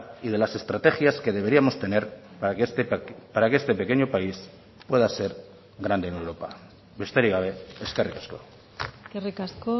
y de las estrategias que deberíamos tener para que este pequeño país pueda ser grande en europa besterik gabe eskerrik asko eskerrik asko